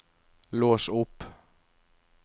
lås opp